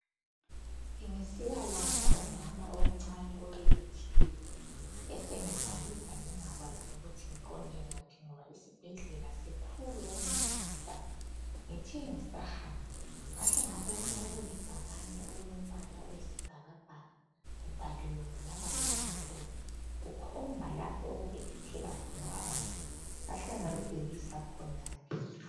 Ngisiya landa umama omncane obelethileyo, ngasengibhayiza ngingazi ngiqonde ngaphi ngoba isibhedlela sikhulu okumangalisayo. Ngithe ngisahamba ngahle ngabona ibhakane okulo mbala oyisi bhakabhaka kubhaliwe ngamabala amhlophe kukhomba lapho okubelethela khona abantu, ngahle ngalubhekisa khonale.